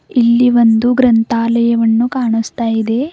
ಇಲ್ಲಿ ಒಂದು ಗ್ರಂಥಾಲಯವನ್ನು ಕಾಣಿಸ್ತಾ ಇದೆ.